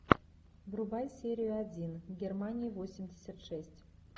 врубай серия один германия восемьдесят шесть